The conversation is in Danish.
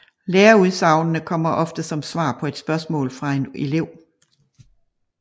Læreudsagnene kommer ofte som svar på et spørgsmål fra en elev